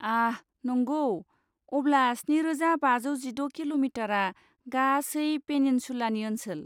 आह, नंगौ! अब्ला स्निरोजा बाजौ जिद' किल'मिटारआ गासै पेनिनसुलानि ओनसोल।